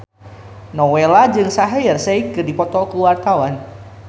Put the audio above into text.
Nowela jeung Shaheer Sheikh keur dipoto ku wartawan